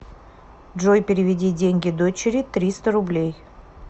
джой переведи деньги дочери триста рублей